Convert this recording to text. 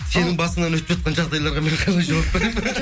сенің басыңнан өтіп жатқан жағдайларға мен қалай жауап беремін